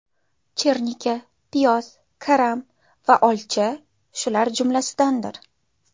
Chernika, piyoz, karam va olcha shular jumlasidandir.